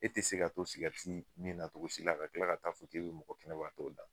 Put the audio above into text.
E te se ka to sigɛriti mi na togosi la ka kila ka t'a fɔ k'o be mɔgɔ kɛnɛbagatɔw la